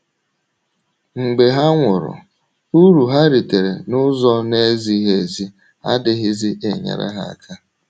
Mgbe ha nwụrụ, uru ha ritere n’ụzọ na - ezighị ezi adịghịzi enyere ha aka.